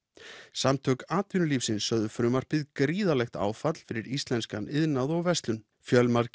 samtök atvinnulífsins sögðu frumvarpið gríðarlegt áfall fyrir íslenskan iðnað og verslun fjölmargir